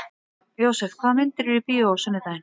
Jósef, hvaða myndir eru í bíó á sunnudaginn?